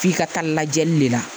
F'i ka taa lajɛli le la